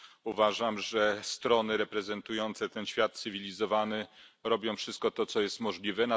Uważam, że strony reprezentujące ten świat cywilizowany robią wszystko to, co jest możliwe.